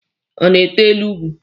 Ọ na-ete elu ugwu?